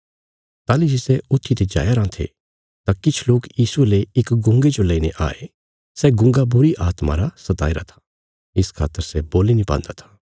ताहली जे सै अन्हे आदमी ऊत्थी ते जाईराँ थे तां किछ लोक यीशुये ले इक गुंगे जो लेईने आये सै गुंगा बुरीआत्मा रा सताईरा था इस खातर सै बोल्ली नीं पान्दा था